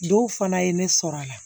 Dɔw fana ye ne sɔrɔ a la